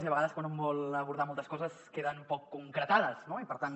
i a vegades quan un vol abordar moltes coses queden poc concretades no i per tant